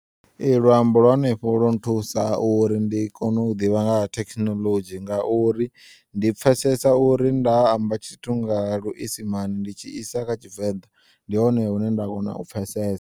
Ee, luambo lwa henefho lwo nthusa uri ndi kone u ḓivha nga ha thekinolodzhi ngauri ndi pfesesa uri nda amba tshithu nga luisimane ndi tshi isa kha tshivenḓa ndi hone hune nda kona u pfesesa.